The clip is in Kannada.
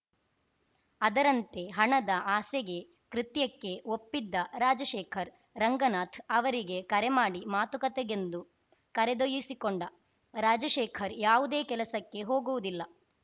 ಅದರಂತೆ ಹಣದ ಆಸೆಗೆ ಕೃತ್ಯಕ್ಕೆ ಒಪ್ಪಿದ್ದ ರಾಜಶೇಖರ್‌ ರಂಗನಾಥ್‌ ಅವರಿಗೆ ಕರೆ ಮಾಡಿ ಮಾತುಕತೆಗೆಂದು ಕರೆದೊಯಿಸಿಕೊಂಡ ರಾಜಶೇಖರ್‌ ಯಾವುದೇ ಕೆಲಸಕ್ಕೆ ಹೋಗುವುದಿಲ್ಲ